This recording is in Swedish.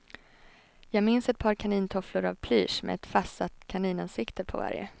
Jag minns ett par kanintofflor av plysch med ett fastsatt kaninansikte på varje.